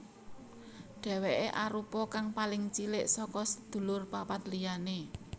Dèwèké arupa kang paling cilik saka sedulur papat liyané